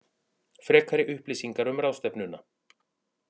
Frekari upplýsingar um ráðstefnuna